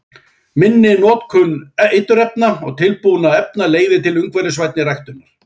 Minni notkun eiturefna og tilbúinna efna leiðir til umhverfisvænni ræktunar.